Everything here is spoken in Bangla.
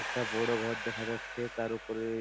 একটা বড় ঘর দেখা যাচ্ছে তার উপরে--